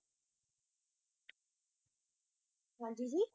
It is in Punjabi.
ਹਾਂਜੀ ਜੀ?